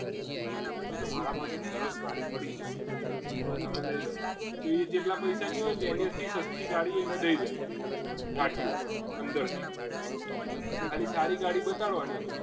તો મારા પરેશ જાડી પડી છે એ તમે લઈ લો તો એ જેટલા પૈસાની હોય ને એનાથી સસ્તી ગાડી અને દઈ દે અંદરથી ખાલી તારી ગાડી બતાડો બતાવવાની